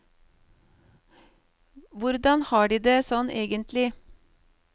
Hvordan har de det, sånn egentlig?